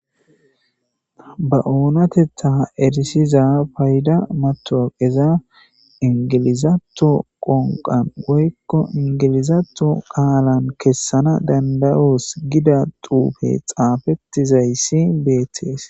Ba oonatettha erisiza payda matoqeza ingilizato qonqan woykko ingilizato qaalan kessana danda7 'oos gida duufe xaafettizayssi beettees.